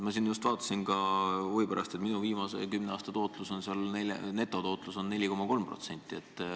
Ma just vaatasin huvi pärast oma seisu ja nägin, et minu puhul on teise samba viimase kümne aasta netotootlus 4,3%.